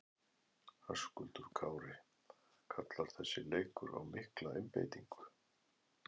Höskuldur Kári: Kallar þessi leikur á mikla einbeitingu?